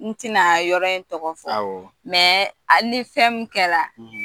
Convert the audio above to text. N tɛna yɔrɔ in tɔgɔ fɔ ni fɛn min kɛra